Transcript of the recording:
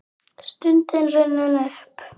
Stundin runnin upp!